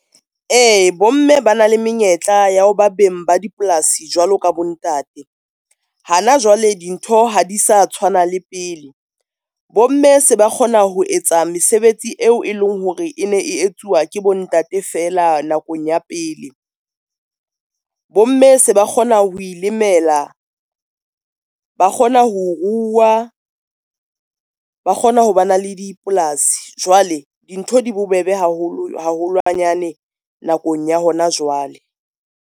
E, bomme ba na le menyetla ya ho ba beng ba dipolasi jwalo ka bo ntate. Hana jwale dintho ha di sa tshwana le pele. Bomme se ba kgona ho etsa mesebetsi eo e leng hore e ne e etsuwa ke bo ntate fela nakong ya pele. Bomme se ba kgona ho ilimela, ba kgona ho ruwa, ba kgona ho ba na le dipolasi, jwale dintho di bobebe haholwanyane nakong ya hona jwale.